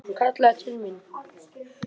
Heiða var að tala.